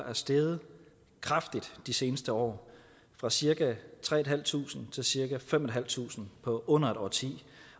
er steget kraftigt de seneste år fra cirka tre tusind til cirka fem tusind fem på under et årti